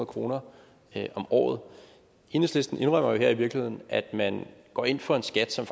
kroner om året enhedslisten indrømmer jo her i virkeligheden at man går ind for en skat som